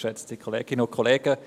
Ich erteile ihm das Wort.